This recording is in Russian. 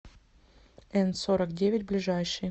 н сорок девять ближайший